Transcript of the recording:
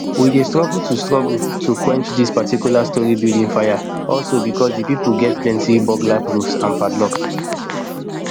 we dey struggle to struggle to quench dis particular storey building fire also because di pipo gat plenty burglar proof and padlocks